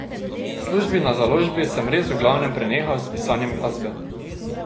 V službi na založbi sem res v glavnem prenehal s pisanjem glasbe.